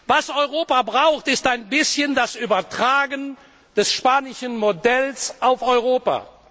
Was Europa braucht, ist ein bisschen das Übertragen des spanischen Modells auf Europa.